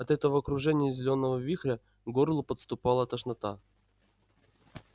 от этого кружения зелёного вихря к горлу подступала тошнота